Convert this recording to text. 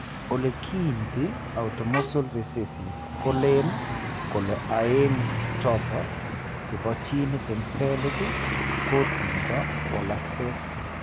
Ole kiinti autosomal recessive ko len kole aeng' choto che po gene eng' cell kotindo walakset.